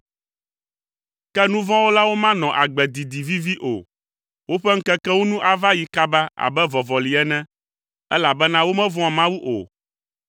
Ke nuvɔ̃wɔlawo manɔ agbe didi vivi o; woƒe ŋkekewo nu ava yi kaba abe vɔvɔli ene, elabena womevɔ̃a Mawu o.